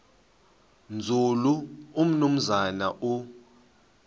nzulu umnumzana u